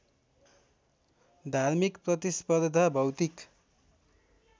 धार्मिक प्रतिस्पर्धा भौतिक